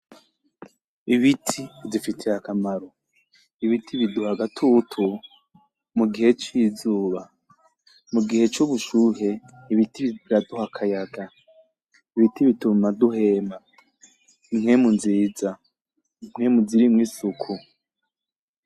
Ibiti bidufitiye akamaro , ibiti biduha agatutu mu gihe c'izuba , mu gihe c'ubushushe ibiti biraduha akayaga , ibiti bituma duhema impwemu nziza, impwemu zirimwo isuku.